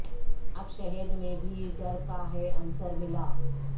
اب شہد میں بھی ڈر کا ہے عنصر ملا